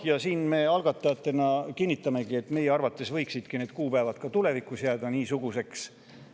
Jah, me algatajatena kinnitamegi, et meie arvates võiksid need kuupäevad ka tulevikus niisuguseks jääda.